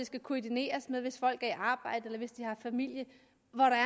skal koordineres hvis folk er i arbejde eller hvis de har familie